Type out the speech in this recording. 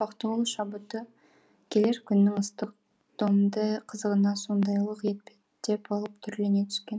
бақтығұл шабыты келер күннің ыстық домді қызығына сондайлық етпеттеп алып түрлене түскен